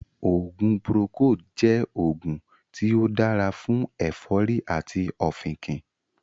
oògùn 'Procold' jẹ́ oògùn tí ó dára fún ẹ̀fọ́rì àti ọ̀fìnkìn